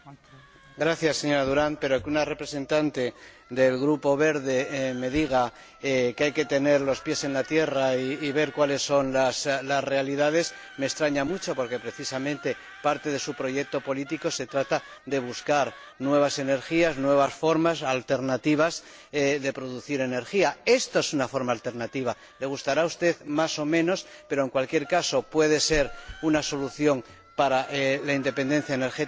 Señora Durant, que una representante del Grupo de los Verdes me diga que hay que tener los pies en la tierra y ver cuáles son las realidades me extraña mucho porque, precisamente, parte de su proyecto político trata de buscar nuevas energías, nuevas formas alternativas de producir energía. Esta es una forma alternativa —que le gustará a usted más o menos— pero, en cualquier caso, puede ser una solución para la independencia energética europea.